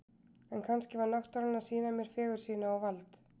En kannski var náttúran að sýna mér fegurð sína og vald.